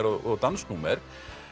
og dansnúmer